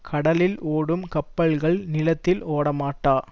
கடலில் ஓடும் கப்பல்கள் நிலத்தில் ஓடமாட்டா